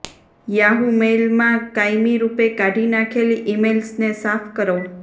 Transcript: Yahoo મેઇલમાં કાયમી રૂપે કાઢી નાખેલી ઇમેઇલ્સને સાફ કરો